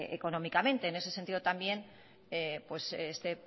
económicamente en ese sentido también este